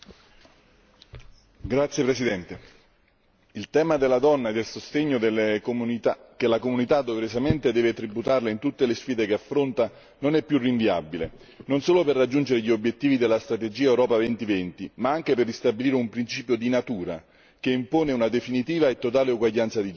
Signor Presidente, onorevoli colleghi, il tema della donna e del sostegno che la comunità doverosamente deve tributarle in tutte le sfide che affronta non è più rinviabile, non solo per raggiungere gli obiettivi della strategia Europa 2020 ma anche per ristabilire un principio di natura, che impone una definitiva e totale uguaglianza di genere.